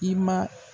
I ma